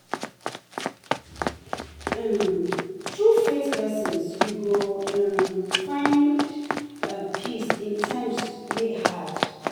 um Thru faith lessons, yu go um fit find um peace in times wey hard.